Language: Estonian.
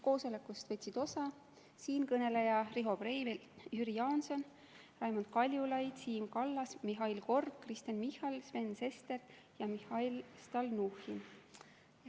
Koosolekust võtsid osa siinkõneleja, Riho Breivel, Jüri Jaanson, Raimond Kaljulaid, Siim Kallas, Mihhail Korb, Kristen Michal, Sven Sester ja Mihhail Stalnuhhin.